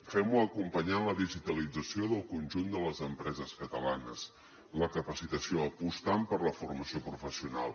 fem ho acompanyant la digitalització del conjunt de les empreses catalanes la capacitació apostant per la formació professional